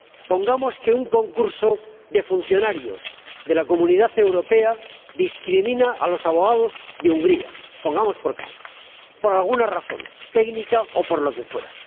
Pongamos que un concurso de funcionarios de la Unión Europea discrimina a los abogados de Hungría, pongamos por caso, por alguna razón técnica o por lo que fuera.